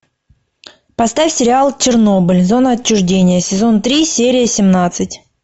поставь сериал чернобыль зона отчуждения сезон три серия семнадцать